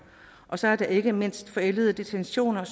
og så er der ikke mindst forældede detentioner